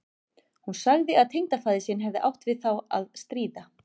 Hún sagði að tengdafaðir sinn hefði átt við þá að stríða.